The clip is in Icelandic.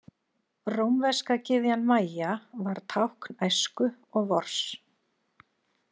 Rómverska gyðjan Maja var tákn æsku og vors.